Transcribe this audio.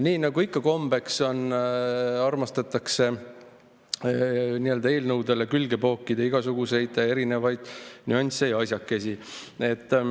Nii nagu ikka kombeks on, armastatakse eelnõudele külge pookida igasuguseid erinevaid nüansse ja asjakesi.